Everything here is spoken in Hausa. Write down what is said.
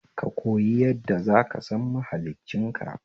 Kakoyi yadda zaka san mahliccin ka